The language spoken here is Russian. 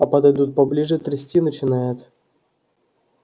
а подойдут поближе трясти начинает